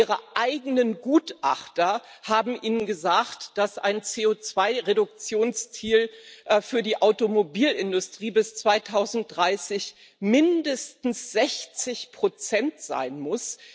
Ihre eigenen Gutachter haben ihnen gesagt, dass ein CO2 Reduktionsziel für die Automobilindustrie bis 2030 mindestens 60 sein muss.